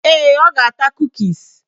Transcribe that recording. Ee, ọ ga-ata kukis